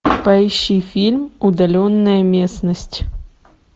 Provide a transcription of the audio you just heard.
поищи фильм удаленная местность